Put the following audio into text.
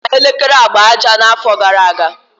O nyere ya elekere agba aja n'afọ gara aga.